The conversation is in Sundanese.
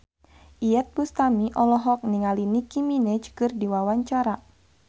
Iyeth Bustami olohok ningali Nicky Minaj keur diwawancara